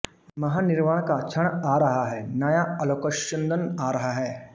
महानिर्वाण का क्षण आ रहा है नया आलोकस्यन्दन आ रहा है